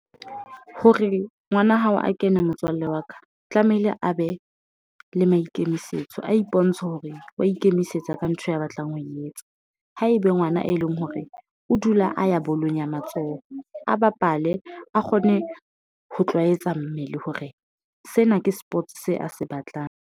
Hore ngwana hao a kena, motswalle wa ka tlamehile a be le maikemisetso a ipontshe hore wa ikemisetsa ka ntho ya batlang ho e etsa ho ebe ngwana e leng hore o dula a ya bolong ya matsoho, a bapale a kgone ho tlwaetse mmele hore sena ke sports se a se batlang.